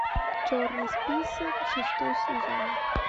черный список шестой сезон